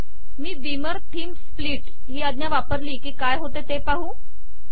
मी Beamer theme split ही आज्ञा वापरली की काय होते ते पाहू